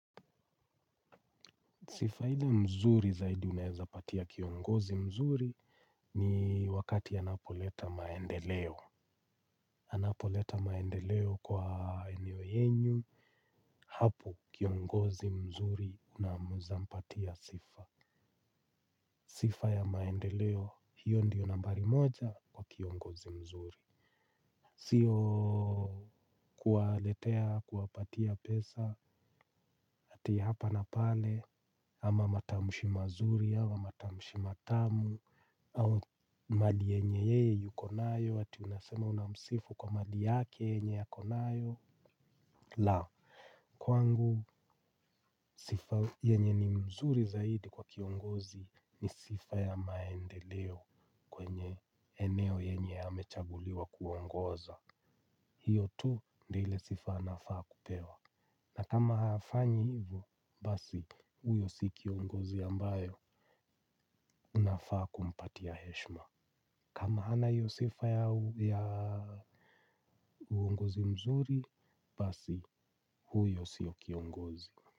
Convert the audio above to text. Sifa ile mzuri zaidi unaweza patia kiongozi mzuri ni wakati anapoleta maendeleo. Anapoleta maendeleo kwa eneo yenu, hapo kiongozi mzuri naweza mpatia sifa. Sifa ya maendeleo hiyo ndiyo nambari moja kwa kiongozi mzuri. Sio kuwaletea kuwapatia pesa ati hapa na pale ama matamshi mazuri ama matamshi matamu au mali yenye yeye yuko nayo ati unasema unamsifu kwa mali yake yenye ako nayo. La, kwangu sifa yenye ni mzuri zaidi kwa kiongozi ni sifa ya maendeleo kwenye eneo yenye amechaguliwa kuongoza. Hiyo tu ndio ile sifa anafaa kupewa. Na kama hafanyi hivyo, basi huyo si kiongozi ambaye unafaa kumpatia heshima. Kama hana hiyo sifa ya uongozi mzuri, basi huyo si kiongozi.